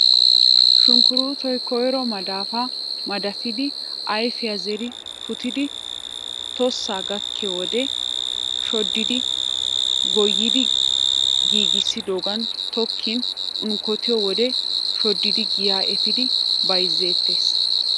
Sunkkuruutoy koyro madafaa madafidi ayfiya zeri puutidi tossa gakkiy wode shoddidi goyidi giigissidogan tokkin unkkotiyo wode shoddidi giyaa efiidi bayzzeettees.